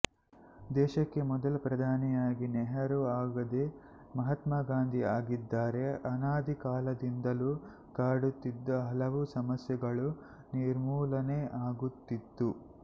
ದೇಶಕ್ಕೆ ಮೊದಲ ಪ್ರಧಾನಿಯಾಗಿ ನೆಹರೂ ಆಗದೆ ಮಹಾತ್ಮ ಗಾಂಧೀಜಿ ಆಗಿದ್ದರೆ ಅನಾದಿ ಕಾಲದಿಂದಲೂ ಕಾಡುತ್ತಿದ್ದ ಹಲವು ಸಮಸ್ಯೆಗಳು ನಿರ್ಮೂಲನೆ ಆಗುತ್ತಿತ್ತು